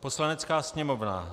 Poslanecká sněmovna